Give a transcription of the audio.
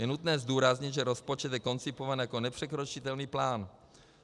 Je nutné zdůraznit, že rozpočet je koncipován jako nepřekročitelný plán.